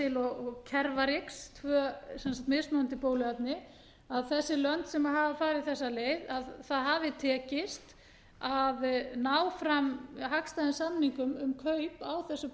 gardasil og cervarix tvö mismunandi bóluefni að þessi lönd sem hafa farið þessa leið að það hafi tekist að ná fram hagstæðum samningum um kaup á þessu